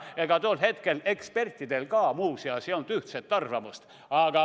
Aga tol hetkel ei olnud ka ekspertidel ühtset arvamust.